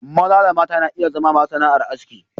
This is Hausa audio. Maza da mata na iya zama masu sana'ar aski.